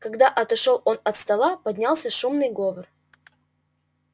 когда отошёл он от стола поднялся шумный говор